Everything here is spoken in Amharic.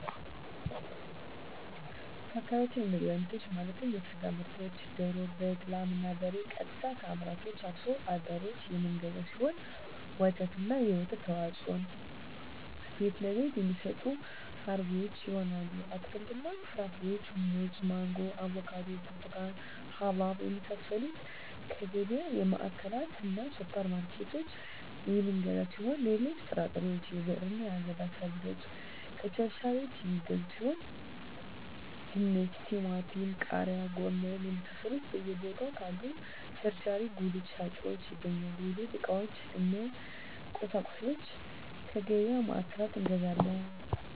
በአካባቢያችን የምግብ አይነቶች ማለትም የስጋ ምርቶችን ደሮ በግ ላም እና በሬ ቀጥታ ከአምራቹ አርሶ አደሮች የምንገዛው ሲሆን ወተትና የወተት ተዋፅኦዎችን ቤትለቤት የሚሸጡ አርቢዎች ይሆናል አትክልትና ፍራፍሬዎችን ሙዝ ማንጎ አቮካዶ ብርቱካን ሀባብ የመሳሰሉትከየገቢያ ማዕከላትእና ሱፐር ማርኬቶች የምንገዛ ሲሆን ሌሎች ጥራጥሬዎች የብዕርና የአገዳ ሰብሎችን ከቸርቻሪዎች የሚገዙ ሲሆን ድንች ቲማቲም ቃሪያ ጎመን የመሳሰሉት በየ ቦታው ካሉ ቸርቻሪ ጉልት ሻጮች ይገኛል የቤት ዕቃዎች እነ ቁሳቁሶች ከገቢያ ማዕከላት እንገዛለን